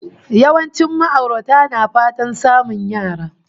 Yawancin ma'aurata na fatan samun yara